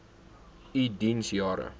u diens jare